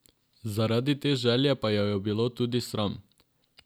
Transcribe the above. Zaradi te želje pa jo je bilo tudi sram.